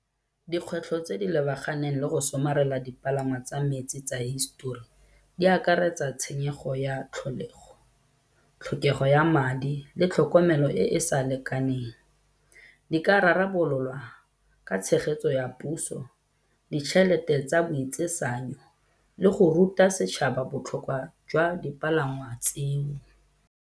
Dikgwetlho tse di lebaganeng le go somarela dipalangwa tsa metsi tsa hisetori di akaretsa tshenyego ya tlholego, tlhokego ya madi le tlhokomelo e e sa lekaneng. Di ka rarabololwa ka tshegetso ya puso, ditšhelete tsa boitsisanyo le go ruta setšhaba botlhokwa jwa dipalangwa tseo.